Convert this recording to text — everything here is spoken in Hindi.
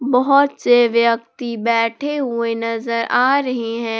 बहोत से व्यक्ति बैठे हुए नजर आ रहे हैं।